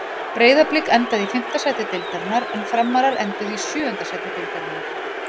Breiðablik endaði í fimmta sæti deildarinnar en Framarar enduðu í sjöunda sæti deildarinnar.